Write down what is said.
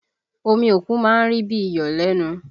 Omi òkun má ń rí bí i iyọ̀ lẹ́nu